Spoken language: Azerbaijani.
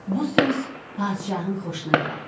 Bu söz padşahın xoşuna gəldi.